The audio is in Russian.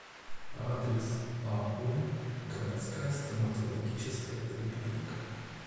адрес ау городская стоматологическая поликлиника